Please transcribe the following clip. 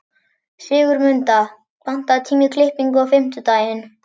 Sigurmunda, pantaðu tíma í klippingu á fimmtudaginn.